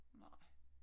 Nej